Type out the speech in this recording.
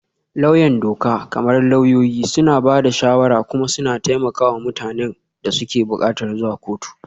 Lauyan doka, kamar lauyoyi, suna ba da shawara kuma suna taimaka wa mutanen da suke buƙatar zuwa kotu.